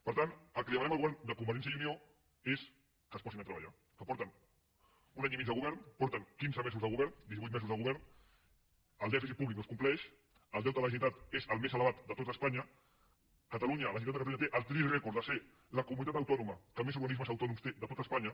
per tant el que demanem al govern de convergència i unió és que es posin a treballar que fa un any i mig que són al govern fa divuit mesos que són al govern i el dèficit públic no es compleix el deute de la generalitat és el més elevat de tot espanya i catalunya la generalitat de catalunya té el trist rècord de ser la comunitat autònoma que més organismes autònoms té de tot espanya